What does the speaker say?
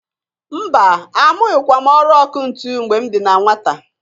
Mba! Amụghịkwa m ọrụ ọkụ ntụ mgbe m dị na nwata.